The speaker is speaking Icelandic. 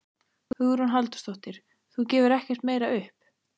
Hugrún Halldórsdóttir: Þú gefur ekkert meira upp?